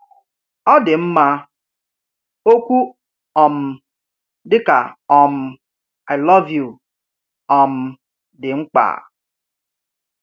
Ọ dị mma, okwu um dị ka um I love you um dị mkpa.